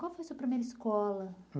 Qual foi a sua primeira escola?